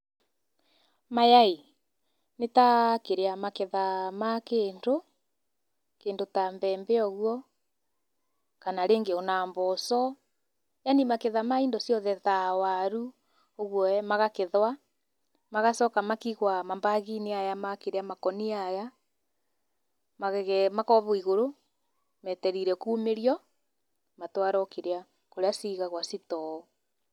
Maya ĩĩ nĩ ta kĩrĩa maketha ma kĩndũ, kĩndũ ta mbembe ũguo kana rĩngĩ ona mboco yaani maketha ma indo ciothe ta waru, ũguo ee magakethwa, magacoka makiigwa ma bag-inĩ aya ma kĩrĩa makũnia aya, makobwo igũrũ metereire kumĩrio, matwarwo kĩrĩa kũrĩa cigagwa store.